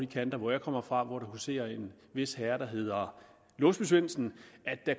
kanter hvor jeg kommer fra og hvor der huserer en vis herre der hedder låsby svendsen